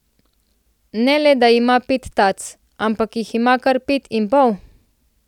Ne le da ima pet tac, ampak jih ima kar pet in pol.